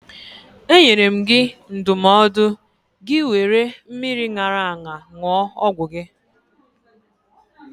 E nyere gị ndụmọdụ gị wéré mmiri ṅara aṅa ṅụọ ọgwụ gị